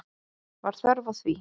Var þörf á því?